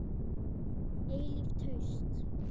Eilíft haust.